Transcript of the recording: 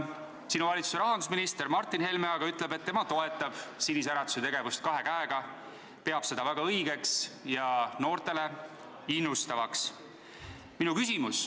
Sinu valitsuse rahandusminister Martin Helme aga ütleb, et tema toetab Sinise Äratuse tegevust kahe käega, ta peab seda väga õigeks ja noori innustavaks.